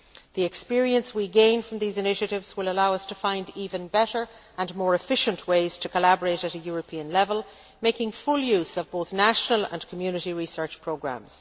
The experience we gain from these initiatives will allow us to find even better and more efficient ways to collaborate at a European level, making full use of both national and Community research programmes.